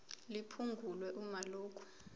liphungulwe uma lokhu